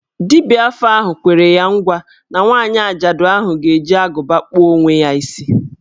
Dibia afa ahụ kwere ya ngwa na nwaanyị ajaadu ahụ ga-eji agụba kpụọ onwe ya isi.